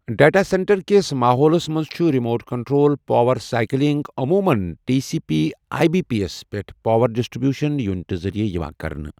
data سینٹرٕکس ماحولَس منٛز چھُ ریموٹ کنٹرول پاور سائیکلنگ عموٗمَن T C P I B P یَس پٮ۪ٹھ پاور ڈسٹری بیوشن یونٹہِ ذٔریعہٕ یِوان کرنہٕ